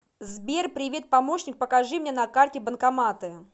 сбер привет помощник покажи мне на карте банкоматы